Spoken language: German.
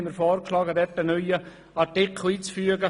Deshalb schlagen wir vor, einen neuen Artikel einzufügen.